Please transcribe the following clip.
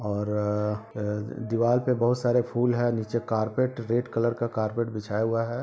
और अ अ दीवार पे बहुत सारा फूल है नीचे कारपेट रेड कलर का कारपेट बिछाया हुआ है |